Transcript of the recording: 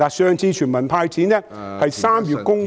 上次全民"派錢"是在3月公布......